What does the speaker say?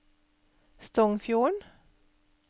Stongfjorden